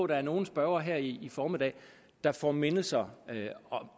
der er nogle spørgere her i formiddag der får mindelser